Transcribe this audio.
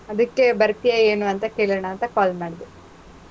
ಅದಿಕ್ಕೆ, ಬರ್ತೀಯಾ ಏನೂ ಅಂತ ಕೇಳನಾಂತ call ಮಾಡ್ದೆ.